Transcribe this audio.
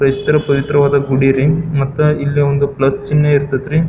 ಕ್ರೈಸ್ತರ ಪವಿತ್ರವಾದ ಗುಡಿ ರಿ ಮತ್ತೆ ಇಲ್ಲಿ ಒಂದು ಪ್ಲಸ್ ಚಿನ್ನೆ ಇರ್ತ್ತತರಿ.